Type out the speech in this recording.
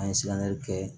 An ye kɛ